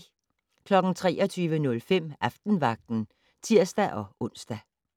23:05: Aftenvagten (tir-ons)